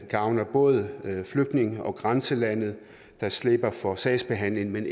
gavner både flygtninge og grænselandet der slipper for sagsbehandlingen men